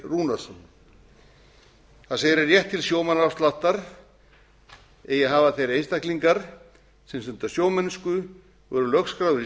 rúnarsson það segir að rétt til sjómannaafsláttar eigi að hafa þeir einstaklingar sem stunda sjómennsku og eru lögskráðir í